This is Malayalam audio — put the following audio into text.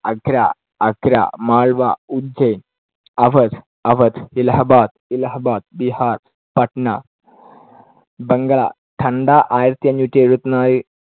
ആഗ്ര, ആഗ്ര, മാൾവാ ഉജ്ജൈൻ, അവധ് അവധ്, ഇലഹാബാദ് ഇലഹാബാദ്, ബീഹാർ പാറ്റ്ന, ബംഗ്ളാ ടണ്ട ആയിരത്തിഅഞ്ഞൂറ്റിഎഴുപതിനാല്